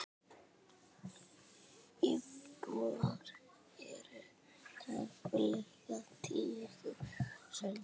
Íbúar eru tæplega tíu þúsund.